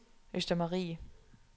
Østermarie